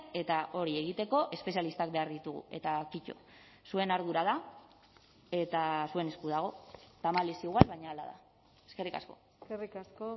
eta hori egiteko espezialistak behar ditugu eta kito zuen ardura da eta zuen esku dago tamalez igual baina hala da eskerrik asko eskerrik asko